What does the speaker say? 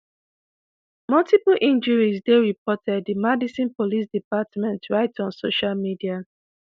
"multiple injuries dey reported" di madison police department write on social media.